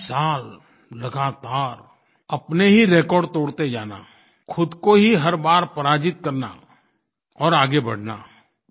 बीस साल लगातार अपने ही रेकॉर्ड तोड़ते जाना खुद को ही हर बार पराजित करना और आगे बढ़ना